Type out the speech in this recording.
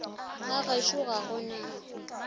ga gešo ga go na